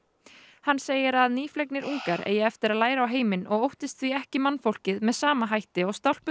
hann segir að ungar eigi eftir að læra á heiminn og óttist því ekki mannfólkið með sama hætti og